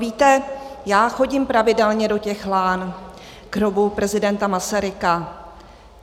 Víte, já chodím pravidelně do těch Lán k hrobu prezidenta Masaryka.